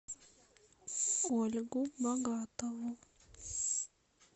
ольгу богатову